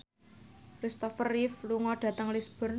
Christopher Reeve lunga dhateng Lisburn